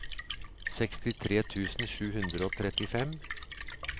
sekstitre tusen sju hundre og trettifem